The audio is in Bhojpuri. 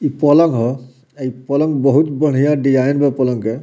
इ पलंग ह | अ इ पलंग बहुत बढ़िया डिज़ाइन में पलंग है |